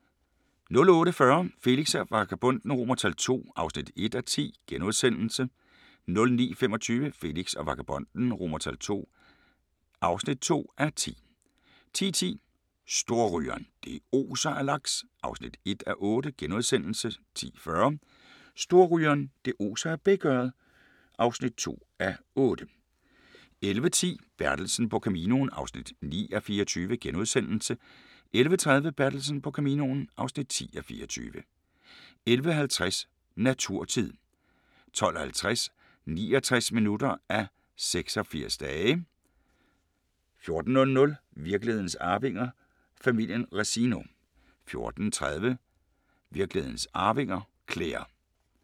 08:40: Felix og Vagabonden II (1:10)* 09:25: Felix og Vagabonden II (2:10) 10:10: Storrygeren – det oser af laks (1:8)* 10:40: Storrygeren – det oser af bækørred (2:8) 11:10: Bertelsen på Caminoen (9:24)* 11:30: Bertelsen på Caminoen (10:24) 11:50: Naturtid 12:50: 69 minutter af 86 dage 14:00: Virkelighedens arvinger: Familien Resino 14:30: Virkelighedens arvinger: Claire